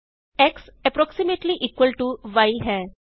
X approximately equal to y ਹੈ